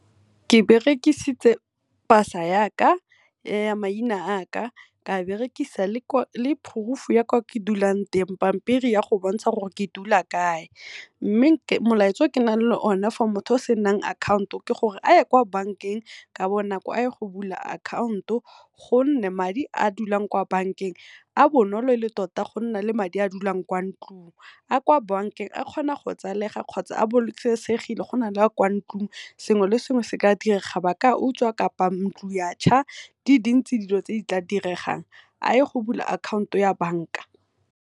Ke berekisitse pasa yaka ya maina a ka, ka berekisa le proof-u ya kwa ke dulang teng, pampiri ya go bontsha gore ke dula kae. Mme molaetsa o ke nang le o ne for o senang akhaonto ke gore a ye kwa bank-eng ka bonako a ye go bula akhaonto, gonne madi a dulang kwa bankeng a bonolo tota go na le madi a dulang kwa ntlung. A kwa bank-eng a kgona go tsalega kgotsa a bolokesegile go na le a kwa ntlung, sengwe le sengwe seka direga ba ka a utswa kapa ntlo ya tšha di dintsi dilo tse di tla diregang a ye go bula akhaonto ya bank-a.